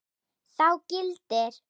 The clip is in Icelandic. Þá gildir